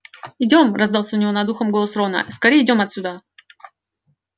идём раздался у него над ухом голос рона скорее идём отсюда